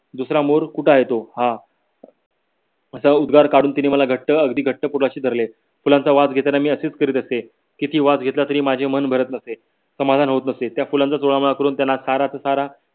दूसरा mood कुठ आहे तो हा. असा उद्गार कडून तिने मला गट्ट अगदी घट्ट पोटाशी धरले. फुलांचा वास घेतांना मी असाच फिरत असे. कीती वास घेतला तरी माझे मान भरत नसे समाधान होत नसे. त्या फुलांचा चुरामुडा करून त्यांना सारचासार